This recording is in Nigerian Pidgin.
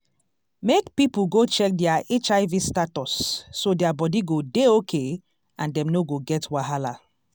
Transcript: make people go check their hiv status so their body go dey okay and dem no go get wahala